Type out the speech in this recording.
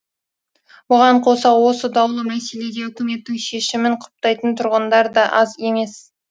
бұған қоса осы даулы мәселеде үкіметтің шешімін құптайтын тұрғындар да аз емес